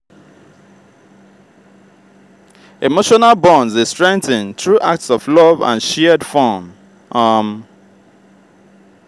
emotional bonds dey strengthen through acts of love and shared fun. um